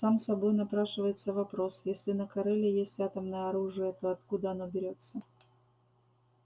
сам собой напрашивается вопрос если на кореле есть атомное оружие то откуда оно берётся